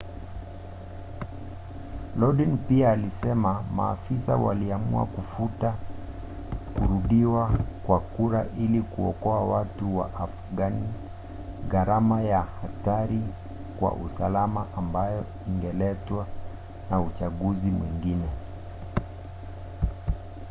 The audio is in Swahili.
lodin pia alisema maafisa waliamua kufuta kurudiwa kwa kura ili kuokoa watu wa afghan gharama na hatari kwa usalama ambayo ingeletwa na uchaguzi mwengine